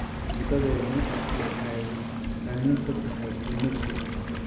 Cuntadeenu waxay qani ku tahay uunsiga.